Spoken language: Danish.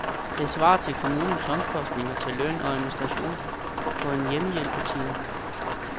Det svarer til kommunens omkostninger til løn og administration på en hjemmehjælpstime.